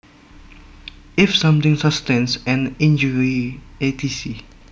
If something sustains an injury etc